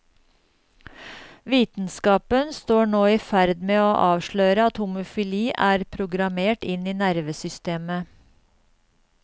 Vitenskapen står nå i ferd med å avsløre at homofili er programmert inn i nervesystemet.